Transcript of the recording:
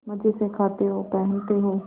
मजे से खाते हो पहनते हो